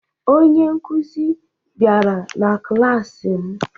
Onye nkụzi bịara na klaasị m